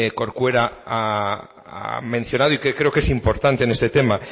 corcuera ha mencionado y creo que es importante en este tema